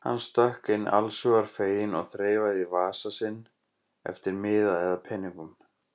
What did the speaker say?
Hann stökk inn allshugar feginn og þreifaði í vasa sinn eftir miða eða peningum.